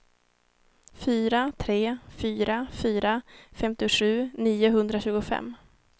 fyra tre fyra fyra femtiosju niohundratjugofem